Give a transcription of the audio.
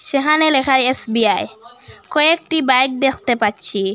সেহানে লেখা এস_বি_আই কয়েকটি বাইক দেখতে পাচ্ছি।